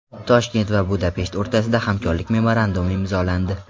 Toshkent va Budapesht o‘rtasida hamkorlik memorandumi imzolandi.